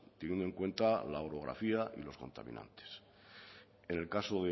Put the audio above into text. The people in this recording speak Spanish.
teniendo en cuenta la orografía y los contaminantes en el caso